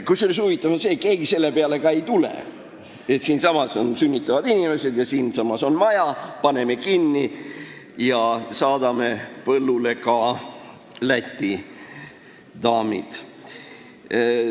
Kusjuures huvitav on see, et keegi ei tule selle peale, et siin on ju sünnitavad inimesed ja maja – paneme aga kinni ja saadame põllule ka Läti daamid.